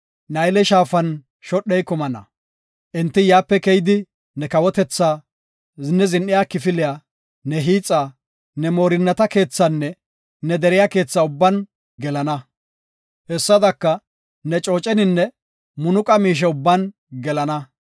Nayle Shaafan shodhey kumana. Enti yaape keyidi ne kawotetha, ne zin7iya kifiliya, ne hiixa, ne moorinnata keethaanne ne deriya keetha ubban gelana. Hessadaka ne cooceninne munuqa miishe ubban gelana.